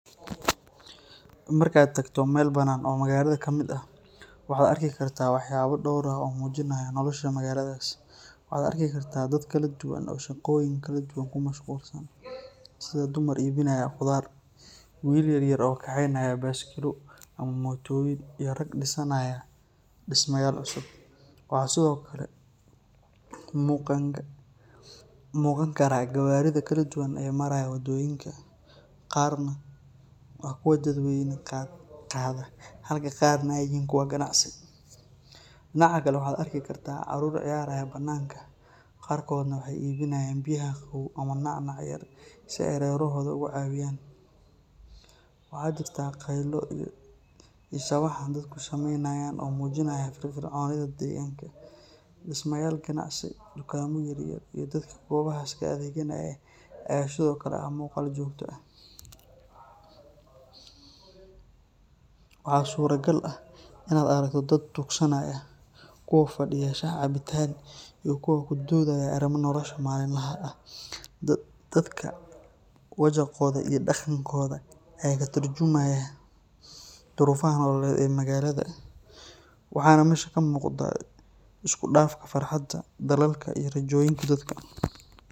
Marka aad tagto meel bannaan oo magaalada ka mid ah, waxaad arki kartaa waxyaabo dhowr ah oo muujinaya nolosha magaaladaas. Waxaad arki kartaa dad kala duwan oo shaqooyin kala duwan ku mashquulsan, sida dumar iibinaya khudaar, wiilal yar yar oo kaxaynaya baaskiilo ama mootooyin, iyo rag dhisanaya dhismayaal cusub. Waxaa sidoo kale muuqan kara gawaarida kala duwan ee maraya waddooyinka, qaarna waa kuwa dadweyne qaada halka qaarna ay yihiin kuwo ganacsi. Dhinaca kale, waxaad arki kartaa carruur ciyaaraya bannaanka, qaarkoodna waxay iibinayaan biyaha qabow ama nacnac yar si ay reerahooda uga caawiyaan. Waxaa jirta qaylo iyo sawaxan dadku samaynayaan oo muujinaya firfircoonida deegaanka. Dhismayaal ganacsi, dukaamo yaryar, iyo dadka goobahaas ka adeeganaya ayaa sidoo kale ah muuqaal joogto ah. Waxaa suuragal ah in aad aragto dad tuugsanaya, kuwo fadhiya shaah cabitaan, iyo kuwo ku doodayo arrimaha nolosha maalinlaha ah. Dadka wajaqooda iyo dhaqankooda ayaa ka turjumaya duruufaha nololeed ee magaalada, waxaana meesha ka muuqda isku dhafka farxadda, dadaalka, iyo rajooyinka dadka.